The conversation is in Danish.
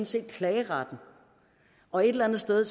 set klageretten og et eller andet sted